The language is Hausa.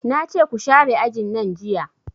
Nace ku share ajin nan jiya